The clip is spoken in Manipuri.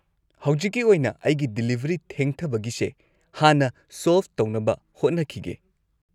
ꯍꯧꯖꯤꯛꯀꯤ ꯑꯣꯏꯅ, ꯑꯩꯒꯤ ꯗꯤꯂꯤꯚꯔꯤ ꯊꯦꯡꯊꯕꯒꯤꯁꯦ ꯍꯥꯟꯅ ꯁꯣꯜꯚ ꯇꯧꯅꯕ ꯍꯣꯠꯅꯈꯤꯒꯦ꯫